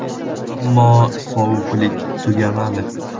Ammo sovuqlik tugamadi.